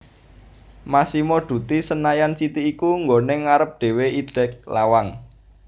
Massimo Dutti Senayan City iku nggone ngarep dewe idek lawang